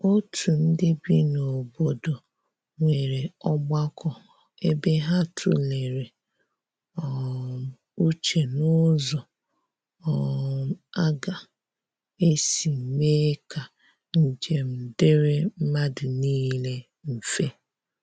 otu ndi bị n'obodo nwere ogbako ebe ha tulere um uche n'ụzọ um aga esi mee ka njem diri madu nile mfe.